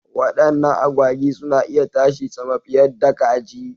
Wadannan agwagi suna iya tashi sama fiyadda kaji.